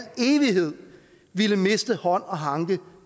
evighed ville miste hånd og hanke